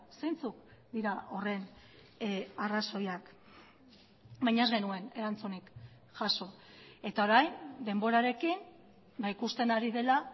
zeintzuk dira horren arrazoiak baina ez genuen erantzunik jaso eta orain denborarekin ikusten ari dela